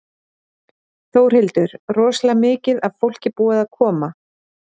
Þórhildur: Rosalega mikið af fólki búið að koma?